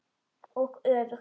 Og öfugt.